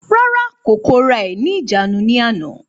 Rárá, kò kóra ẹ̀ ní ìjánu ní àná